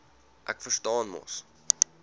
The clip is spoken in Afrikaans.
ek verstaan mos